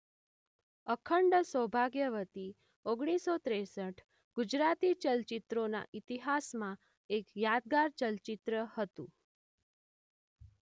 અખંડ સૌભાગ્યવતી ઓગણીસો ત્રેંસઠ ગુજરાતી ચલચિત્રોના ઈતિહાસમાં એક યાદગાર ચલચિત્ર હતું.